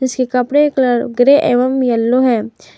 इसके कपड़े का कलर ग्रे एवं येलो है।